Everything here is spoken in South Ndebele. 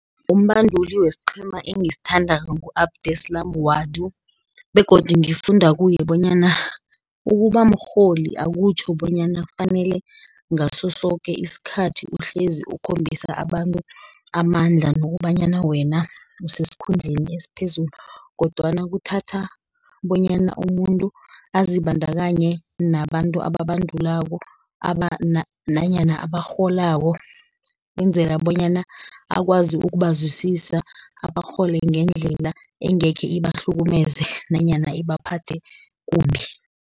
Umbanduli wesiqhema engisithandako ngu-Abdeslam Ouaddou, begodu ngifunda kuye bonyana ukuba mrholi, akutjho bonyana fanele ngaso soke isikhathi uhlezi ukhombisa abantu amandla, nokobanyana wena osesikhundleni esiphezulu, kodwana kuthatha bonyana umuntu azibandakanye nabantu ababandulako, nanyana ebarholako, kwenzela bonyana akwazi ukubazwisisa, abarhole ngendlela engekhe ibahlukumeze, nanyana ibaphethe kumbi.